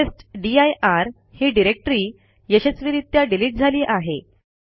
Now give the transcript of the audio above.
आता टेस्टदीर ही डिरेक्टरी यशस्वीरित्या डिलिट झाली आहे